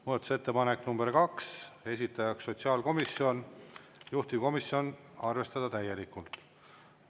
Muudatusettepanek nr 2, esitajaks sotsiaalkomisjon, juhtivkomisjon: arvestada täielikult.